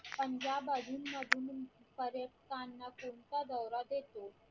पंजाब अधून मधून पर्यटकांना कोणता दौरा देतो